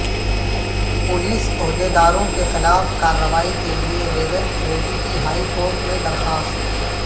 police عہدیداروں کے خلاف کارروائی کیلئے ریونت ریڈی کی ہائی کورٹ میں درخواست